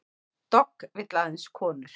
Dogg vill aðeins konur